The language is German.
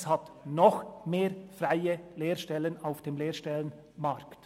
Es hat noch mehr freie Lehrstellen auf dem Lehrstellenmarkt!